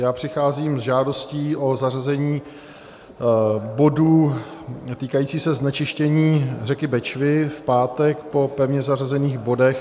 Já přicházím s žádostí o zařazení bodu týkajícího se znečištění řeky Bečvy v pátek po pevně zařazených bodech.